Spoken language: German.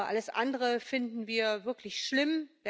Alles andere finden wir wirklich schlimm.